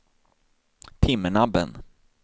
Timmernabben